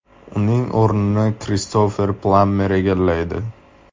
Uning o‘rnini Kristofer Plammer egallaydi.